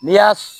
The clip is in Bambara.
N'i y'a